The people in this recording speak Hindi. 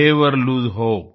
never lose hope